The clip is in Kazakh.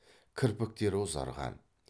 кірпіктері ұзарған